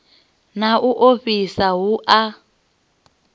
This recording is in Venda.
na u ofhisa hu a